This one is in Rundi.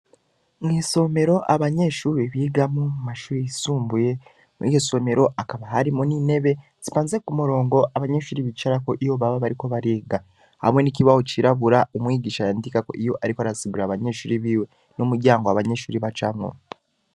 Mw’isomero abanyeshure bigamwo mu mashure yisumbuye, muri iyo somero hakaba harimwo n’intebe zipanze ku murongo, abanyeshure bicarako iyo baba bariko bariga; hamwe n’ikibaho cirabura umwigisha yandikako iyo ariko arasigurira abanyeshure biwe, n’umuryango abanyeshure bacamwo.